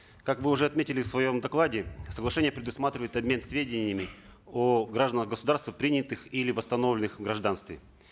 как вы уже отметили в своем докладе соглашение предусматривает обмен сведениями о гражданах государств принятых или восстановленных в гражданстве